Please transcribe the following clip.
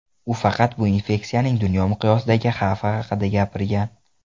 U faqat bu infeksiyaning dunyo miqyosidagi xavfi haqida gapirgan.